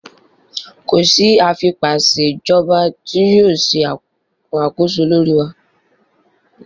Ko si afipaṣejọba ti yoo ṣe akoso lori wa!